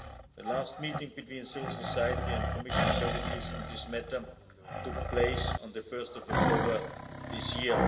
The last meeting between civil society and Commissioner services on this matter took place on 1 October this year.